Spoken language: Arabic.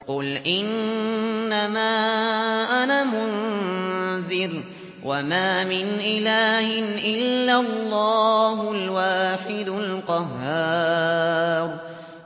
قُلْ إِنَّمَا أَنَا مُنذِرٌ ۖ وَمَا مِنْ إِلَٰهٍ إِلَّا اللَّهُ الْوَاحِدُ الْقَهَّارُ